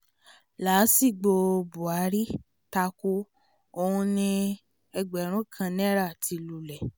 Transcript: làásìgbò buhari táko ò ní ẹgbẹ̀rún kan náírà ti lulẹ